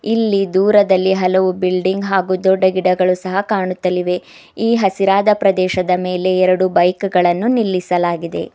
ಇಲ್ಲಿ ದೂರದಲ್ಲಿ ಹಲವು ಬಿಲ್ಡಿಂಗ್ ಹಾಗೂ ದೊಡ್ಡ ಗಿಡಗಳು ಸಹ ಕಾಣುತ್ತಲಿವೆ ಈ ಹಸಿರಾದ ಪ್ರದೇಶದ ಮೇಲೆ ಎರಡು ಬೈಕು ಗಳನ್ನು ನಿಲ್ಲಿಸಲಾಗಿದೆ.